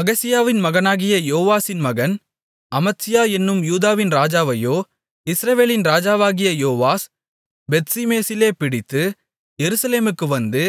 அகசியாவின் மகனாகிய யோவாசின் மகன் அமத்சியா என்னும் யூதாவின் ராஜாவையோ இஸ்ரவேலின் ராஜாவாகிய யோவாஸ் பெத்ஷிமேசிலே பிடித்து எருசலேமுக்கு வந்து